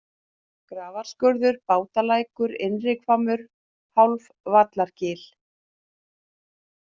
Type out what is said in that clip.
Grafarskurður, Bátalækur, Innrihvammur, Hálfvallargil